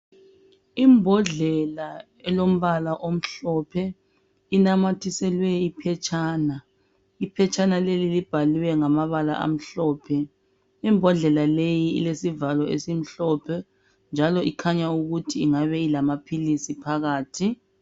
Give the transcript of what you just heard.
Imbodlela elombala omhlophe, inamathiselwe iphetshana, iphetshana leli libhaliwe ngamabala amhlophe imbodlela leyi ilesivalo esimhlophe njalo ikhanya ukuthi ingabe ilamaphilisi phakathi.